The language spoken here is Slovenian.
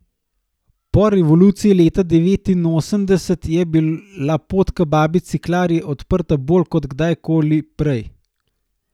Po revoluciji leta devetinosemdeset je bila pot k babici Klari odprta bolj kot kdajkoli prej.